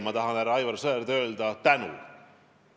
Aga teile, härra Aivar Sõerd, ma tahan aitäh öelda.